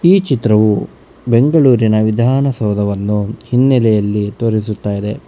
ಈ ಚಿತ್ರವು ಬೆಂಗಳೂರಿನ ವಿಧಾನಸೌದವನ್ನು ಹಿನ್ನಲೆಯಲ್ಲಿ ತೋರಿಸುತ್ತಾ ಇದೆ.